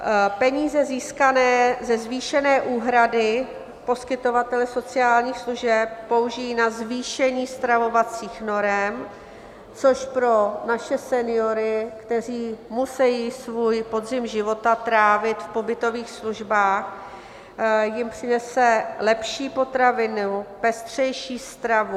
Peníze získané ze zvýšené úhrady poskytovatele sociálních služeb použijí na zvýšení stravovacích norem, což pro naše seniory, kteří musejí svůj podzim života trávit v pobytových službách, jim přinese lepší potraviny, pestřejší stravu.